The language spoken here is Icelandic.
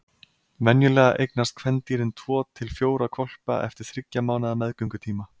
Venjulega eignast kvendýrin tvo til fjóra hvolpa eftir þriggja mánaða meðgöngutíma.